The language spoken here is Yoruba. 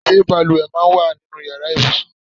Ṣé bàlùwẹ̀ máa ń wà nínú ìyára ibùsùn?